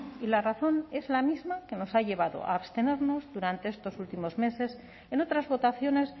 y la razón es la misma que nos ha llevado a abstenernos durante estos últimos meses en otras votaciones